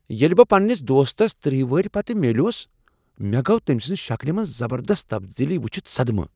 ییٚلہ بہٕ پننس دوستس تٔرہ وری پتہٕ میوُلٗس مےٚ گوٚو تمہِ سٕنٛزِ شکلہ منٛز زبردست تبدیلی وُچھِتھ صدمہ